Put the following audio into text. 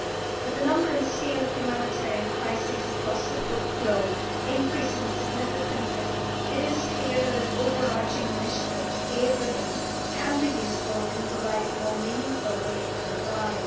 With the number and scale of humanitarian crises across the globe increasing significantly, it is clear that an overarching initiative to aid relief can be useful in providing more meaningful relief on the ground.